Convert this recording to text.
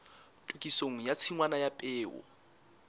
tokisong ya tshingwana ya peo